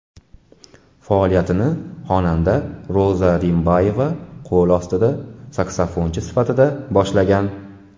Faoliyatini xonanda Roza Rimbayeva qo‘l ostida saksofonchi sifatida boshlagan.